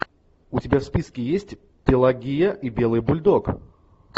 у тебя в списке есть пелагия и белый бульдог